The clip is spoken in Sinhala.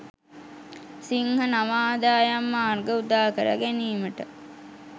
සිංහ නව ආදායම් මාර්ග උදාකර ගැනීමට